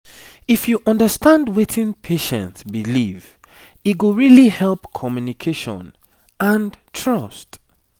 if you understand wetin patient believe e go really help communication and trust